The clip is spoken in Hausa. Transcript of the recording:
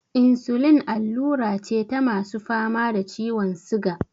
Insulin allura ce ta masu fama da ciwon siga.